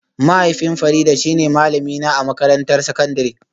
Mahaifin Farida shine malamina a makarantar sakandare